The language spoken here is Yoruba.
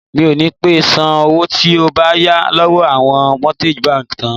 Mi ò ní pé san owó tí mo yà lọ́wọ́ àwọn mortgage bank tán.